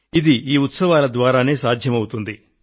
ఇది ఈ ఉత్సవాల ద్వారానే సాధ్యమవుతుంది